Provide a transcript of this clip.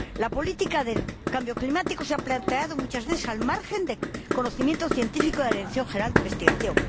La política del cambio climático se ha planteado muchas veces al margen del conocimiento científico de la Dirección General de Investigación